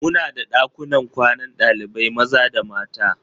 Muna da ɗakunan kwanan ɗalibai maza da mata.